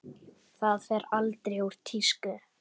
Það fer aldrei úr tísku.